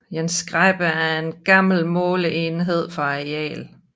En skæppe er en gammel måleenhed for areal